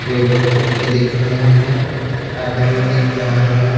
Table क्रोशी दिख रहा है आदमी दिख रहा है।